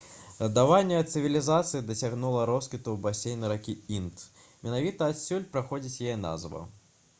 згаданая цывілізацыя дасягнула росквіту ў басейне ракі інд менавіта адсюль паходзіць яе назва